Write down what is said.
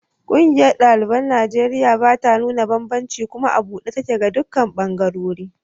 Ƙungiyar ɗaliban Najeriya bata nuna banbanci kuma a buɗe take ga dukkan ɓangarori.